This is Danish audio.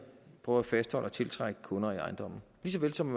prøver at fastholde og tiltrække kunder i ejendommen lige så vel som